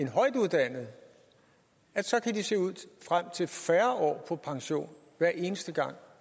højtuddannede så kan de se frem til færre år på pension hver eneste gang